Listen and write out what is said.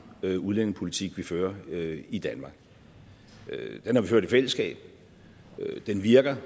udlændingepolitik vi fører i danmark den har vi ført i fællesskab den virker